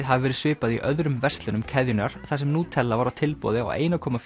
hafi verið svipað í öðrum verslunum keðjunnar þar sem Nutella var á tilboði á einum komma